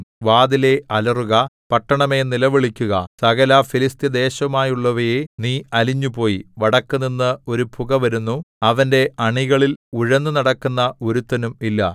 വാതിലേ അലറുക പട്ടണമേ നിലവിളിക്കുക സകലഫെലിസ്ത്യ ദേശവുമായുള്ളവയേ നീ അലിഞ്ഞുപോയി വടക്കുനിന്ന് ഒരു പുകവരുന്നു അവന്റെ അണികളിൽ ഉഴന്നുനടക്കുന്ന ഒരുത്തനും ഇല്ല